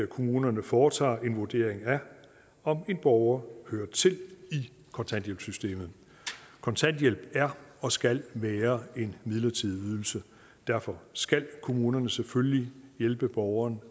kommunerne foretager en vurdering af om en borger hører til i kontanthjælpssystemet kontanthjælp er og skal være en midlertidig ydelse derfor skal kommunerne selvfølgelig hjælpe borgeren